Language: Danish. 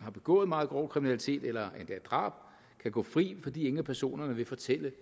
har begået meget grov kriminalitet eller endda drab kan gå fri fordi ingen af personerne vil fortælle